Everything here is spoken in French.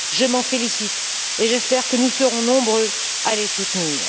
Je m'en félicite et j'espère que nous serons nombreux à les soutenir.